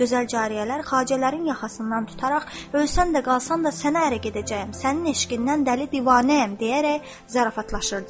Gözəl cariyələr xacələrin yaxasından tutaraq ölsən də, qalsan da, sənə ərə gedəcəyəm, sənin eşqindən dəli-divanəyəm deyərək zarafatlaşırdılar.